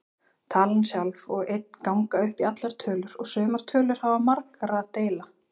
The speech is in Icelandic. Talan sjálf og einn ganga upp í allar tölur og sumar tölur hafa marga deila.